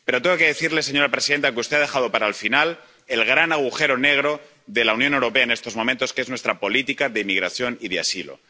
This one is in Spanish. Pero tengo que decirle, señora presidenta, que usted ha dejado para el final el gran agujero negro de la Unión Europea en estos momentos, que es nuestra política de inmigración y de asilo.